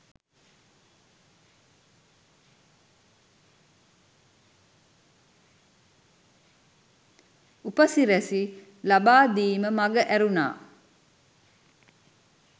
උපසිරැසි ලබා දීම මග ඇරුනා